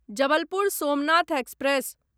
Jabalpur Somnath express